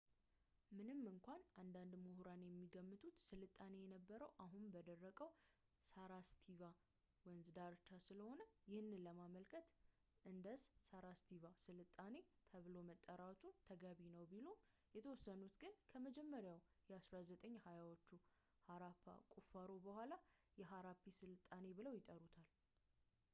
ምንም እንኳን አንዳንድ ምሑራን የሚገምቱት ስልጣኔው የነበረው አሁን በደረቀው የሳራስቫቲ ወንዝ ዳርቻ ስለሆነ ይህንን ለማመልከት ኢንደስ-ሳራቫስቲ ሥልጣኔ ተብሎ መጠራቱ ተገቢ ነው ቢሉም የተወሰኑት ግን ከመጀመሪያ የ 1920ዎቹ ሐራፓ ቁፋሮ በኋላ የሐራፓ ስልጣኔ ብለው ይጠሩታል